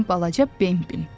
Mənim balaca Bembim.